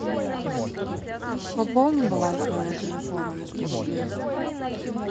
пополни баланс моего телефона на сто рублей